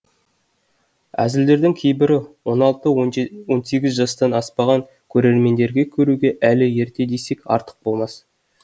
әзілдердің кейбірі ол алты он он сегіз жастан аспаған көрермендерге көруге әлі ерте десек артық болмас